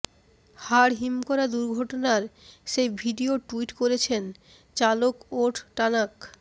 হাড় হিম করা দুর্ঘটনার সেই ভিডিয়ো টুইট করেছেন চালক ওট টানাক